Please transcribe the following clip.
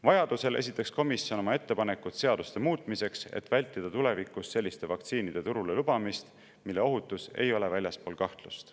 Vajaduse korral esitaks komisjon oma ettepanekud seaduste muutmiseks, et vältida tulevikus selliste vaktsiinide turule lubamist, mille ohutus ei ole väljaspool kahtlust.